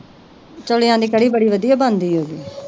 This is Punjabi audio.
ਦੀ ਕੜੀ ਬੜੀ ਵਧਿਆ ਬਣਦੀ ਓਦੇ